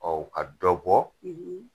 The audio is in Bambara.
Ɔ ka dɔ bɔ,